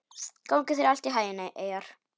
Gangi þér allt í haginn, Eyjar.